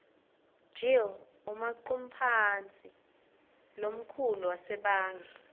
gill umaqumphatsi lomkhulu wasebange